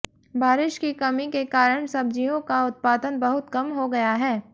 बारिश की कमी के कारण सब्जियों का उत्पादन बहुत कम हो गया है